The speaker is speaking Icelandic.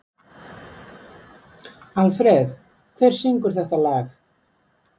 Alfreð, hver syngur þetta lag?